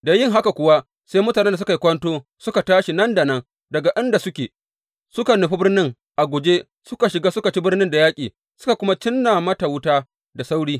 Da yin haka kuwa sai mutanen da suka yi kwanto suka tashi nan da nan daga inda suke, suka nufi birnin a guje, suka shiga suka ci birnin da yaƙi, suka kuma cinna mata wuta da sauri.